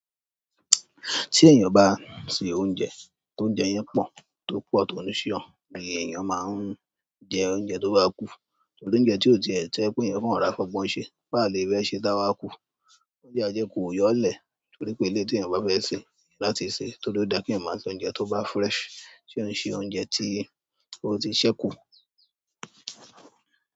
Tí èèyàn bá se oúnjẹ, tóúnjẹ yẹn pọ̀, tó pọ̀ tọ́ni sí ọ̀, ee èèyàn máa ń jẹ oúnjẹ tó bá kú. Torí oúnjẹ tí ó ti ẹ̀ tó jẹ́ pé èèyàn kan rọra fi ọgbọ́n sì, báa lè rẹ́ ṣé dáwà kú. Oúnjẹ ajẹ́ kù ó yọ̀ lẹ̀ torí pé eleyi tí èèyàn bá fẹ́ ṣe láti ṣe, tó rí ó da kí èèyàn máa se óúnjẹ tó bá fresh. Tí òun ṣe oúnjẹ tí ó ti sẹ́ kú.